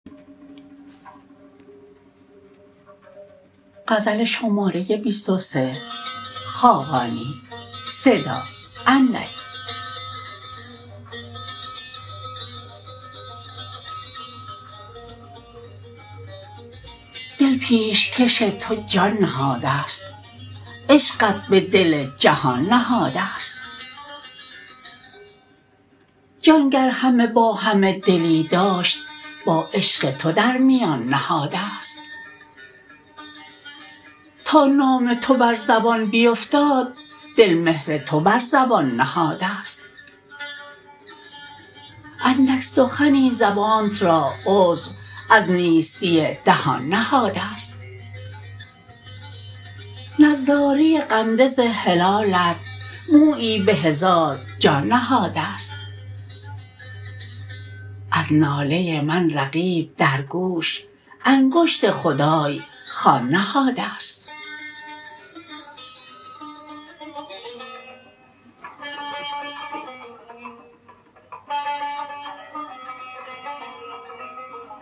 دل پیشکش تو جان نهاده است عشقت به دل جهان نهاده است جان گر همه با همه دلی داشت با عشق تو در میان نهاده است تا نام تو بر زبان بیفتاد دل مهر تو بر زبان نهاده است اندک سخنی زبانت را عذر از نیستی دهان نهاده است نظاره قندز هلالت مویی به هزار جان نهاده است از ناله من رقیب در گوش انگشت خدای خوان نهاده است